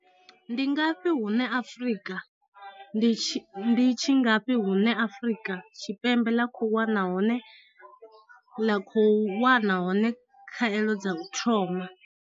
Ndi ngafhi hune Afrika ndi tshi ngafhi hune Afrika Tshipembe ḽa khou wana hone ḽa kho u wana hone khaelo dza u thoma.